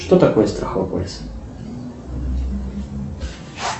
что такое страховой полис